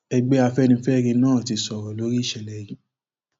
ẹgbẹ afẹnifẹre náà ti sọrọ lórí ìṣẹlẹ yìí